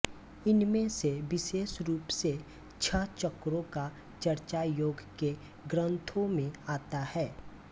इनमें से विशेष रूप से छह चक्रों का चर्चा योग के ग्रंथों में आता है